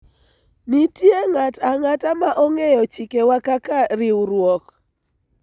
nitie ng'at ang'ata ma ong'eyo chikewa kaka riwruok